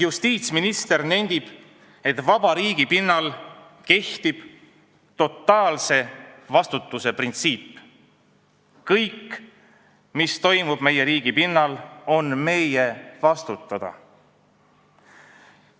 Justiitsminister nendib, et vaba riigi pinnal kehtib totaalse vastutuse printsiip: kõik, mis toimub meie riigi pinnal, on meie vastutada.